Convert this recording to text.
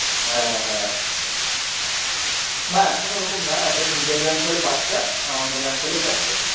হ্যাঁ হ্যাঁ না এখন ওরকম না। এখন নিজের ব্যাঙ্ক হলে পাঁচটা আর অন্য ব্যাঙ্ক হলে চারটে।